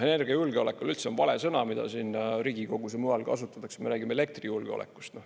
Energiajulgeolek on üldse vale sõna, mida siin Riigikogus ja mujal kasutatakse, me räägime elektrijulgeolekust.